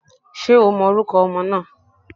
Ṣé o mọ orúkọ ọmọ náà?